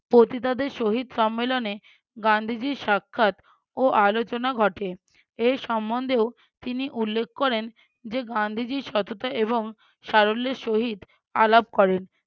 পতিতাদের সহিত সম্মেলনে গান্ধীজীর সাক্ষাৎ ও আলোচনা ঘটে এ সম্বন্ধেও তিনি উল্লেখ করেন যে গান্ধীজীর সততা এবং সারল্যের সহিত আলাপ করেন